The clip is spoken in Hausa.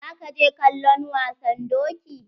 Za ka je kallon wasan doki?